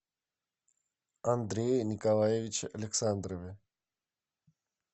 андрее николаевиче александрове